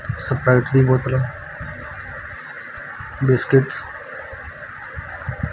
Sprite ਦੀ ਬੋਤਲ ਆ ਬਿਸਕਿਟਸ --